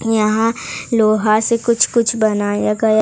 यहां लोहा से कुछ कुछ बनाया गया--